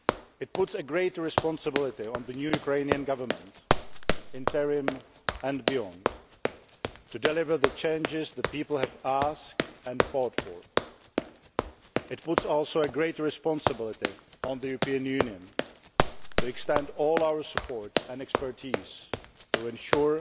It places greater responsibility on the new Ukrainian government interim and beyond to deliver the changes the people have asked and fought for. It places greater responsibility, too, on the European Union to extend all our support and expertise to ensure